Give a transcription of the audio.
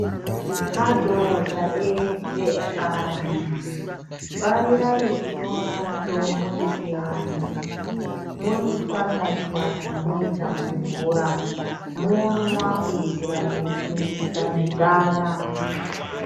Madhodha ese ekanyi farirai kutora mitombo yechiantu moichwanya chwanya moiise mumvura momwa kuitira kusimbisa misana.